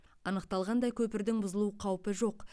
анықталғандай көпірдің бұзылу қаупі жоқ